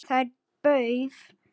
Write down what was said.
Þeir pauf